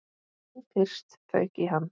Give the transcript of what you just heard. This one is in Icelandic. Nú fyrst fauk í hann.